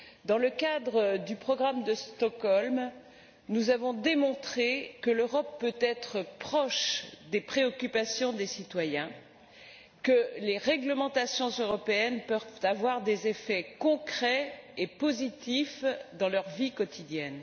Dans le cadre du programme de Stockholm, nous avons démontré que l'Europe peut être proche des préoccupations des citoyens et que les réglementations européennes peuvent avoir des effets concrets et positifs dans leur vie quotidienne.